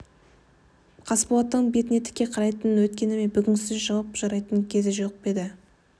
қасболаттың бетіне тіке қарайтын өткені мен бүгінгісі үшін жауап сұрайтын кезі жеткен жоқ па енді